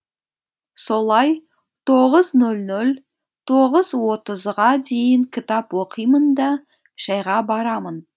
солай тоғыз нөл нөл тоғыз отызға дейін кітап оқимын да шәйға барамын